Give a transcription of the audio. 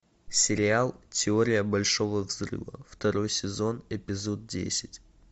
сериал теория большого взрыва второй сезон эпизод десять